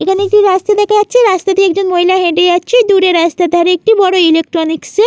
এখানে একটি রাস্তা দেখা যাচ্ছে রাস্তা দিয়ে একজন মহিলা হেঁটে যাচ্ছে |দূরে রাস্তার ধারে একটি বড় ইলেকট্রনিক্স -এ --